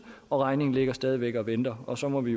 regningen ligger stadig væk og venter og så må vi